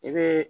I bɛ